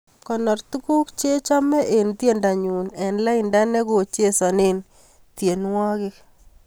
Konor tuguk chachame eng tyendonyu eng lainda negochesane tyenwogik